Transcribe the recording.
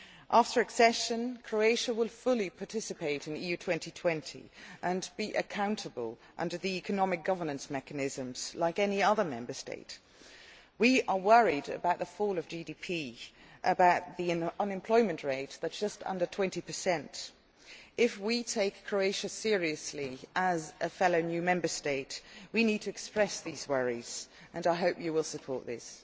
After accession Croatia will fully participate in EU 2020 and be accountable under the economic governance mechanisms, like any other Member State. We are worried about the fall of GDP and about the unemployment rate, which it is just under 20. If we take Croatia seriously as a new Member State, we need to express these worries, and I hope you will support this.